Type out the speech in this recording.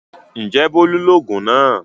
Ǹjẹ́ Bólú lògùn náà?